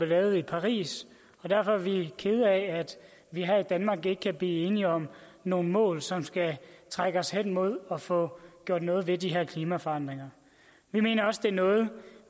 lavet i paris og derfor er vi kede af at vi her i danmark ikke kan blive enige om nogle mål som skal trække hen imod at få gjort noget ved de her klimaforandringer vi mener også det er noget